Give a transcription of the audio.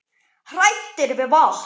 Hræddir við vatn!